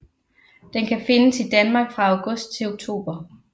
Den kan findes i Danmark fra august til oktober